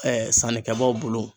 Ɛɛ sanni kɛbaaw bolo